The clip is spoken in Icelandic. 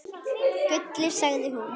Gulli, sagði hún.